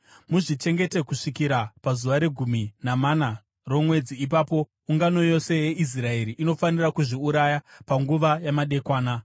Muzvichengete kusvikira pazuva regumi namana romwedzi, ipapo ungano yose yeIsraeri inofanira kuzviuraya panguva yamadekwana.